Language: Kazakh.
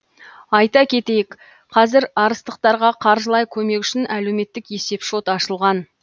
айта кетейік қазір арыстықтарға қаржылай көмек үшін әлеуметтік есеп шот ашылған